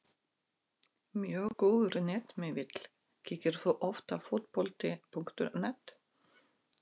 Mjög góður netmiðill Kíkir þú oft á Fótbolti.net?